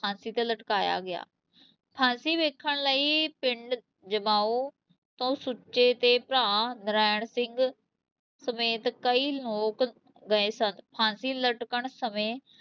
ਫਾਂਸੀ ਤੇ ਲਟਕਾਇਆ ਗਿਆ, ਫਾਂਸੀ ਵੇਖਣ ਲਈ ਪਿੰਡ ਜਮਾਉਂ ਤੋਂ ਸੁੱਚੇ ਦੇ ਭਰਾ ਨਰਾਇਣ ਸਿੰਘ ਸਮੇਤ ਕਈ ਲੋਕ ਗਏ ਸਨ, ਫਾਂਸੀ ਲੱਟਕਣ ਸਮੇ